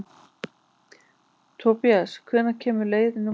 Tobías, hvenær kemur leið númer átta?